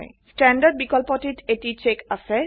standard বিকল্পটিত এটি check আছে